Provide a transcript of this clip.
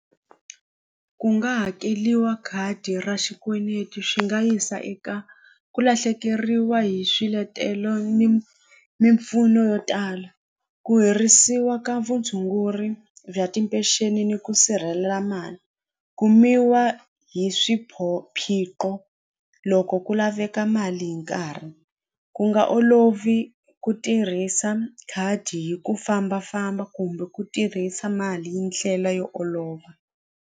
Ku nga hakeliwa khadi ra xikweneti swi nga yisa eka ku lahlekeriwa hi swiletelo ni mimpfuno yo tala ku herisiwa ka vutshunguri bya timpexeni ni ku sirhelela mali kumiwa hi loko ku laveka mali hi nkarhi ku nga olovi ku tirhisa khadi hi ku fambafamba kumbe ku tirhisa mali hi ndlela yo olova.